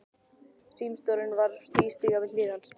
Símstjórinn var að tvístíga við hlið hans.